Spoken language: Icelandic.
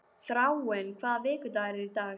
Þráinn, hvaða vikudagur er í dag?